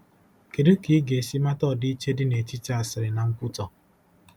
Kedu ka ị ga-esi mata ọdịiche dị n'etiti asịrị na nkwutọ?